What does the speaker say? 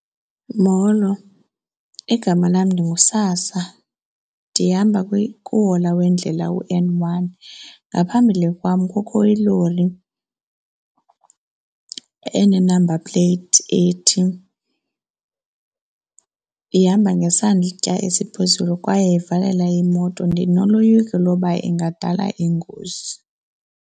Molo, igama lam ndinguSasa, ndihamba kuhola wendlela uN one. Ngaphambili kwam kukho iloli ene-number plate ethi ihamba ngesantya esiphezulu kwaye ivalela imoto, ndinoloyiko loba ingadala ingozi.